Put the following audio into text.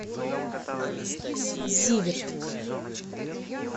зиверт